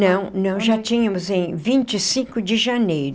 Não, não, já tínhamos em vinte e cinco de janeiro